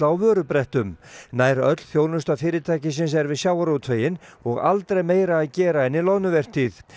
á vörubrettum nær öll þjónusta fyrirtækisins er við sjávarútveginn og aldrei meira að gera en í loðnuvertíð